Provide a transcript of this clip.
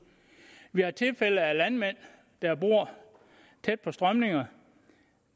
vi har tilfælde af landmænd der bor tæt på strømninger